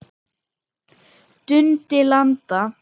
Dundi landa!